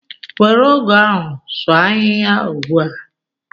Were ọgụ ahụ sụọ ahihia ugbua!